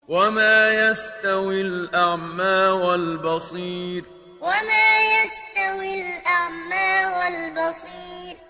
وَمَا يَسْتَوِي الْأَعْمَىٰ وَالْبَصِيرُ وَمَا يَسْتَوِي الْأَعْمَىٰ وَالْبَصِيرُ